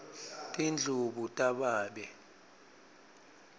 tindlubu tababe